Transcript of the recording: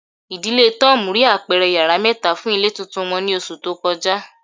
Idile Tom rii apẹrẹ yara mẹta fun ile tuntun wọn ni oṣu to kọja